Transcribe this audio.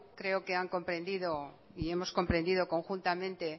creo que han comprendido y hemos comprendido conjuntamente